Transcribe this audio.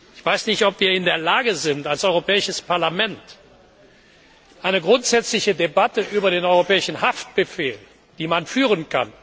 Ich weiß nicht, ob wir in der Lage sind, als Europäisches Parlament eine grundsätzliche Debatte über den europäischen Haftbefehl zu führen.